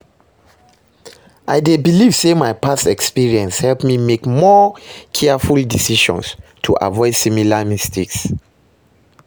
i dey believe say my past experiences help me make more careful decisions to avoid similar mistakes.